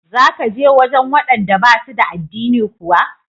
Za ka je wajen waɗanda ba su da addini kuwa?